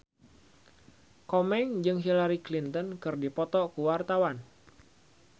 Komeng jeung Hillary Clinton keur dipoto ku wartawan